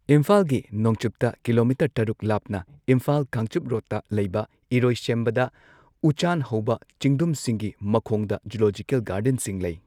ꯏꯝꯐꯥꯜꯒꯤ ꯅꯣꯡꯆꯨꯞꯇ ꯀꯤꯂꯣꯃꯤꯇꯔ ꯇꯔꯨꯛ ꯂꯥꯞꯅ, ꯏꯝꯐꯥꯜ ꯀꯥꯡꯆꯨꯞ ꯔꯣꯗꯇ ꯂꯩꯕ ꯏꯔꯣꯏꯁꯦꯝꯕꯗ ꯎꯆꯥꯟ ꯍꯧꯕ ꯆꯤꯡꯗꯨꯝꯁꯤꯡꯒꯤ ꯃꯈꯣꯡꯗ ꯖꯨꯂꯣꯖꯤꯀꯦꯜ ꯒꯥꯔꯗꯦꯟꯁꯤꯡ ꯂꯩ꯫